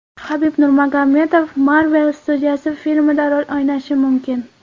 Habib Nurmagomedov Marvel studiyasi filmida rol o‘ynashi mumkin.